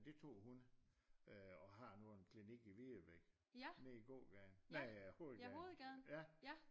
Det tog hun øh og har nu en klinik i Videbæk nede i gågaden nej øh hovedgaden